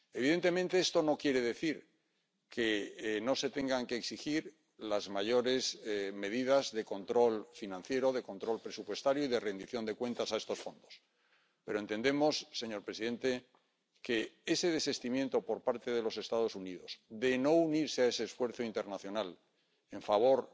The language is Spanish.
Evidentemente, esto no quiere decir que no se tengan que exigir las mayores medidas de control financiero, de control presupuestario y de rendición de cuentas a estos fondos, pero entendemos, señor presidente, que ese desistimiento por parte de los Estados Unidos de no unirse a ese esfuerzo internacional en favor